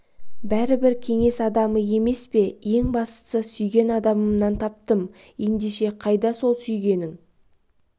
бәрібір кеңес адамы емес пе ең бастысы сүйген адамымнан таптым ендеше қайда сол сүйгенің